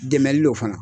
Dɛmɛli don fana